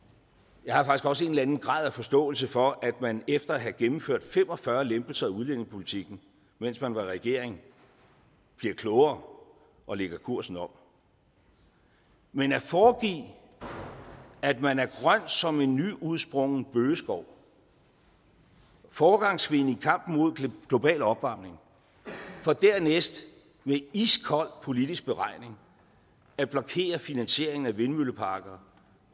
jeg har også en eller anden grad af forståelse for at man efter at have gennemført fem og fyrre lempelser af udlændingepolitikken mens man var i regering bliver klogere og lægger kursen om men at foregive at man er grøn som en nyudsprunget bøgeskov foregangskvinde i kampen mod global opvarmning for dernæst med iskold politisk beregning at blokere finansieringen af vindmølleparker